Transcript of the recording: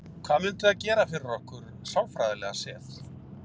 Hvað myndi það gera fyrir okkur sálfræðilega séð?